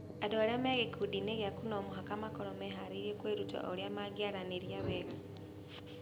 Andũ arĩa marĩ gĩkundi-inĩ gĩaku no mũhaka makorũo meharĩirie kwĩruta ũrĩa mangĩaranĩria wega.